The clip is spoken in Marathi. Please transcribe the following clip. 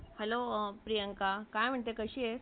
Hello प्रियंका काय म्हणतेस , कशी आहेस ?